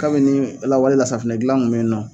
Kabini lawale la sanfinɛ gilan kun be yen nɔ